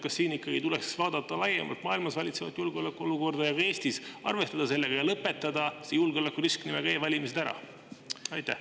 Kas siin ei tuleks vaadata Eestis ja laiemalt maailmas valitsevat julgeolekuolukorda, arvestada sellega ja lõpetada see julgeolekurisk nimega e-valimised ära?